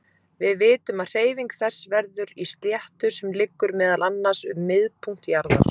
Við vitum að hreyfing þess verður í sléttu sem liggur meðal annars um miðpunkt jarðar.